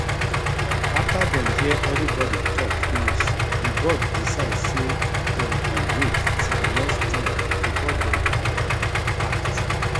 after dem hear everybody talk finish the board decide say dem go wait till next time before dem um act